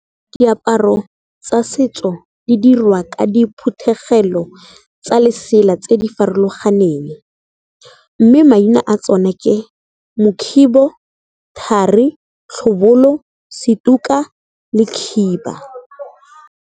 Diaparo tsa setso di dirwa ka diphuthegelo tsa lesela tse di farologaneng, mme maina a tsona ke mokhibo, thari, tlhobolo, setuka le khiba.